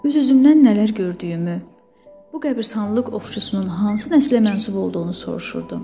Öz-özümdən nələr gördüyümü, bu qəbiristanlıq ovçusunun hansı nəslə mənsub olduğunu soruşurdum.